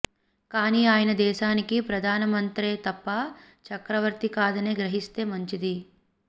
కానీ ఆయన దేశానికి ప్రధాన మంత్రే తప్ప చక్రవర్తి కాదని గ్రహిస్తే మంచింది